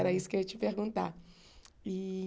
Era isso que eu ia te perguntar. Ih